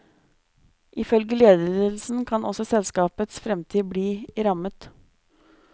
Ifølge ledelsen kan også selskapets fremtid bli rammet.